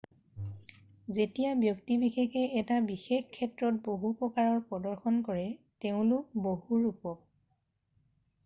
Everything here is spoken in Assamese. যেতিয়া ব্যক্তি বিশেষে এটা বিশেষ ক্ষেত্ৰত বহু প্ৰকাৰৰ প্ৰদৰ্শন কৰে তেওঁলোক বহুৰূপক